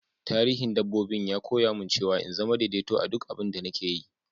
Tarihin dabbobi'n ya koya mun cewa n'zama daidaito a'duk abin da nake yi.